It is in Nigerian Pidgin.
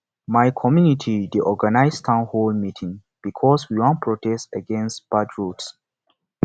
my community dey organize town hall meeting because we wan protest against bad roads